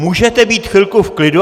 Můžete být chvilku v klidu!